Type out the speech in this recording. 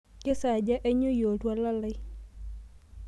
kesaaja ainyioyie oltuala lai